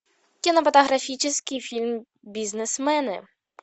кинематографический фильм бизнесмены